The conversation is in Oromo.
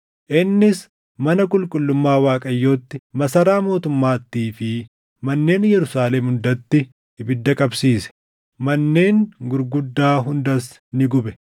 Innis mana qulqullummaa Waaqayyootti, masaraa mootummaattii fi manneen Yerusaalem hundatti ibidda qabsiise. Manneen gurguddaa hundas ni gube.